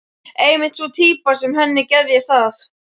Einmitt sú týpa sem henni geðjast að!